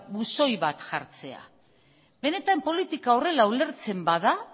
buzoi bat jartzea benetan politika horrela ulertzen bada